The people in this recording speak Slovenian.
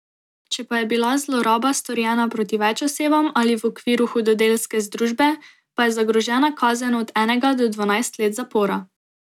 Če pa je bila zloraba storjena proti več osebam ali v okviru hudodelske združbe, pa je zagrožena kazen od enega do dvanajst let zapora.